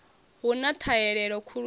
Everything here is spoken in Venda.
hu na ṱhahelelo khulu ya